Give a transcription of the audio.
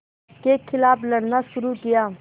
के ख़िलाफ़ लड़ना शुरू किया